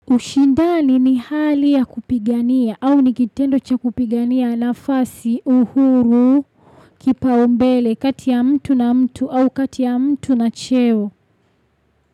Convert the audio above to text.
Ushindani ni hali ya kupigania au ni kitendo cha kupigania nafasi, uhuru kipaumbele kati ya mtu na mtu au kati ya mtu na cheo.